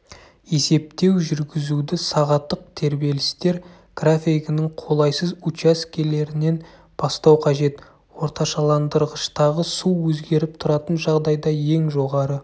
есептеу жүргізуді сағаттық тербелістер графигінің қолайсыз учаскелерінен бастау қажет орташаландырғыштағы су өзгеріп тұратын жағдайда ең жоғары